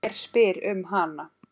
Hver spyr um hana?